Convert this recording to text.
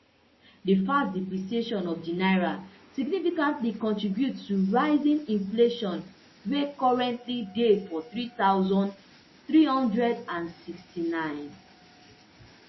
di fast depreciation of di naira significantly contribute to rising inflation wey currently dey for three thousand, three hundred and sixty-nine